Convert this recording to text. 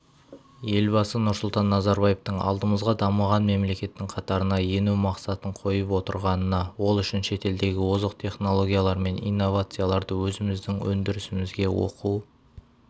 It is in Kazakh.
елбасы нұрсұлтан назарбаевтың алдымызға дамыған мемлекеттің қатарына ену мақсатын қойып отырғанына ол үшін шетелдегі озық технологиялар мен инновацияларды өзіміздің өндірісімізге оқу